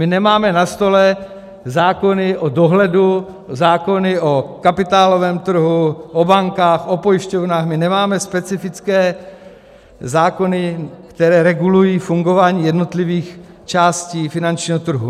My nemáme na stole zákony o dohledu, zákony o kapitálovém trhu, o bankách, o pojišťovnách, my nemáme specifické zákony, které regulují fungování jednotlivých částí finančního trhu.